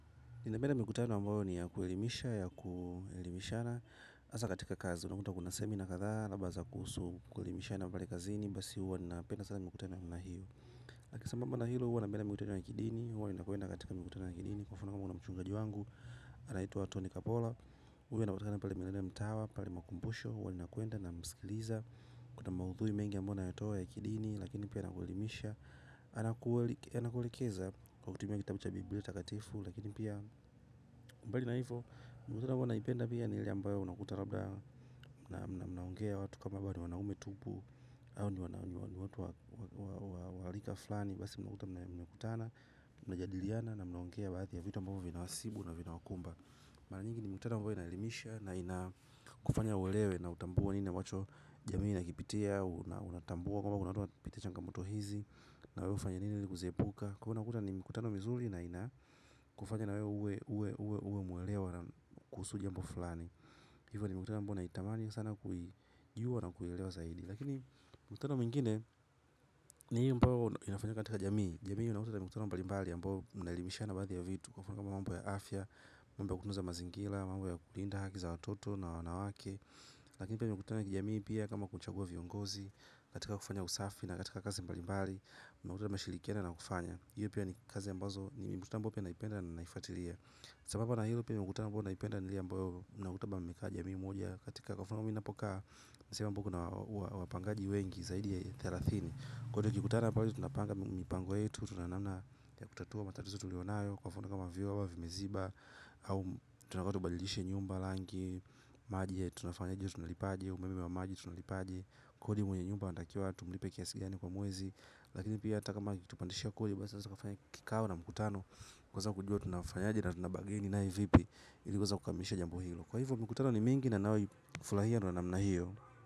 Ninapenda mikutano ambayo ni ya kuelimisha, ya kuelimishana hasa katika kazi, unakuta kuna semina kadhaa ambazo kuhusu kuelimishana pale kazini. Basi huwa ninapenda sana mikutano ya namna hiyo. Lakini sasa kando na hilo huwa napenda mikutano na kidini. Huwa ninakwenda katika mikutano na kidini. Kwa mfano kuna mchungaji wangu anaitwa Tony Kapola. Huwa inakutana pale maeneo ya mitawa pale makumbusho huwa ninakwenda namsikiliza. Kuna maudhui mengi ambayo anayatoa ya kidini. Lakini pia anakuelimisha. Anakuelekeza kwa kutumia kitabu cha biblia takatifu lakini pia bali na ivo mikutano huwa naipenda pia ni ile ambayo unakuta labda mnaongea watu kama wanaume tupu au ni watu wa rika fulani, basi mnakuta mnakutana, mnajadiliana na mnaongea baadhi ya vitu ambavyo vina wasibu na vinawakumba, mara nyingi ni mikutano ambayo inaelimisha na inakufanya uelewe na utambue nini ambacho jamii inakipitia unatambua kwamba kuna watu wanapitia changamoto hizi na wewe ufanya nini kuziepuka, kwa hio unakuta ni mikutano mizuri na inakufanya na wewe uwe mwelewa na kuhusu jambo fulani. Hivyo ni mikutano ambayo naitamani sana kuijua na kuilelewa zaidi. Lakini mikutano mingine ni hii ambao inafanywa katika jamii. Jamii inakua na mikutano mbalimbali ambayo mnaelimishana baadhi ya vitu kwa mfano kama mambo ya afya, mambo ya kutunza mazingira, mambo ya kulinda haki za watoto na wanawake. Lakini pia mikutano ya kijamii pia kama kuchagua viongozi. Katika kufanya usafi na katika kazi mbalimbali mnakuta na mashirikiana na kufanya hiyo pia ni kazi ambazo ni mikutana ambayo pia naipenda na naifuatilia sambamba na hio pia mikutano ambayo naipenda ni ile ambayo mnakutana kama jamii moja katika kwa mfano kwa mimi ninapokaa nisehemu ambayo kuna wapangaji wengi zaidi ya thelathini kwa hio tukikutana pale tunapnga mambo yetu tuna namna ya kutatua matatizo yetu kwa mfano vyoo vimeziba au tunataka tubadilishe nyumba rangi maji yetu tunafanyaje tunalipaje umeme wa maji tunalipaje kodi mwenye nyumba anatakiwa tumlipe kiasi gani kwa mwezi. Lakini pia hata kama akitupandishia kodi kikao na mkutano kwa sababu tujue tunafanyaje na tunabargain naye vipi ili kukamilisha jambo hilo, kwa hivyo mikutano ni mingi. Furahia na namna hiyo.